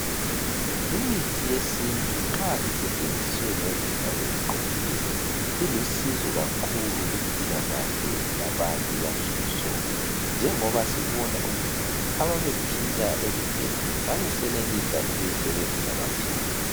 Imithi yesintu nxa isetshenziswe ngendlela eziqondileyo ilusizo kakhulu kumpilakahle yabantu yansuku zonke. Njengoba sibona ukuthi ababephila ekudeni babesenelisa ukuyisebenzisa baphile.